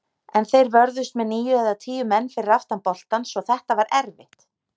En þeir vörðust með níu eða tíu menn fyrir aftan boltann svo þetta var erfitt.